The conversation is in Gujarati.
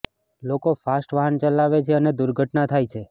લોકો ફાસ્ટ વાહન ચલાવે છે અને દુર્ઘટના થાય છે